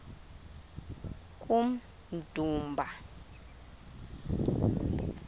kummdumba